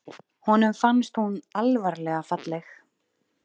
Honum fannst hún alvarlega falleg.